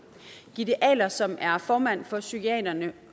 gitte ahle som er formand for psykiaterne